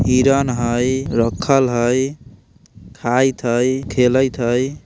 हिरण हइ रखल हइ खाइत हइ खैलत हइ।